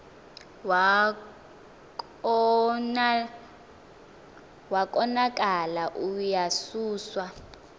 wa konakala uyasuswa